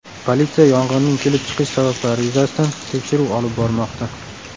Politsiya yong‘inning kelib chiqish sabablari yuzasidan tekshiruv olib bormoqda.